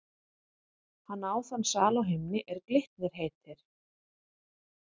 Hann á þann sal á himni, er Glitnir heitir.